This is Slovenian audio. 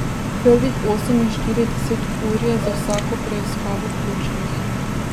Prvih oseminštirideset ur je za vsako preiskavo ključnih.